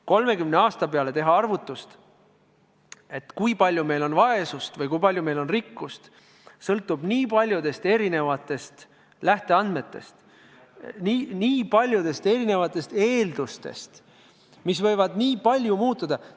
30 aasta peale ette teha arvutust, kui palju meil on vaesust või kui palju meil on rikkust – see sõltub nii paljudest lähteandmetest, nii paljudest eeldustest, mis võivad väga palju muutuda.